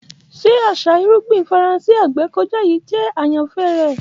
Ṣe aṣa irugbin Faranse agbekọja yii jẹ ayanfẹ rẹ?